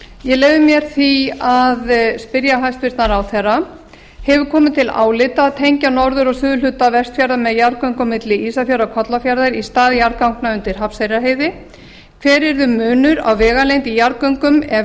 ég leyfi mér því að spyrja hæstvirtan ráðherra hefur það komið til álita að tengja norður og suðurhluta vestfjarða með jarðgöngum milli ísafjarðar og kollafjarðar í stað jarðganga undir hrafnseyrarheiði hver yrði munur á vegalengd i jarðgöngum ef